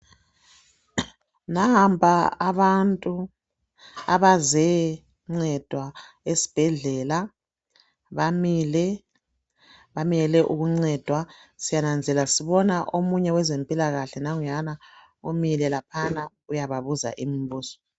Nampa abantu abazencedwa esibhedlela bamile bamele ukuncedwa. Siyananzelela sibona omunye wezempilakahle nanguyana umile laphana uyababuza imibuzo.